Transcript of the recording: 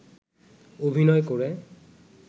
অভিনয় করে